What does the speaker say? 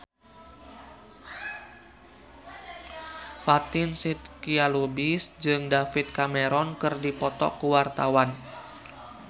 Fatin Shidqia Lubis jeung David Cameron keur dipoto ku wartawan